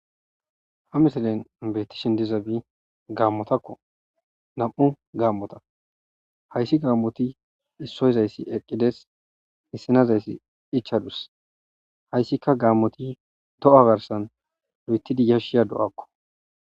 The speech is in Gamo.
ha misilen beetti shin dizabi gaammotakko nam7u gaammota hayssi gaammoti issoyzayssi eqqides hissinazayssi ichadus hayssika gaammoti do7a garsan lu7etidi yashshiya do7akko